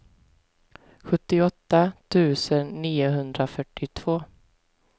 sjuttioåtta tusen niohundrafyrtiotvå